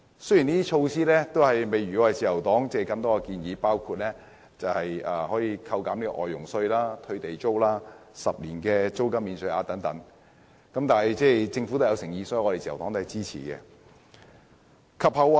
雖然這些措施並未包括自由黨的建議，例如扣減外傭稅、退地租、10年租金免稅額等，但我們看到政府的誠意，所以自由黨仍然會支持政府。